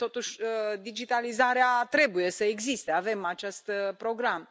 Totuși, digitalizarea trebuie să existe, avem acest program.